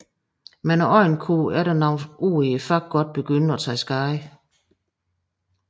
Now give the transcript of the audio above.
Men øjnene kunne efter nogle år i faget godt begynde at tage skade